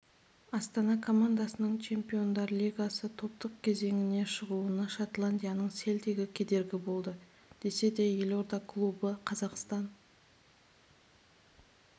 астана командасының чемпиондар лигасы топтық кезеңіне шығуына шотландияның селтигі кедергі болды десе де елорда клубы қазақстан